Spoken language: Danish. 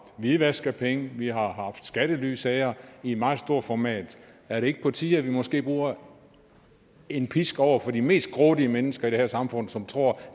hvidvask af penge og vi har haft skattelysager i meget stort format er det ikke på tide at vi måske bruger en pisk over for de mest grådige mennesker i det her samfund som tror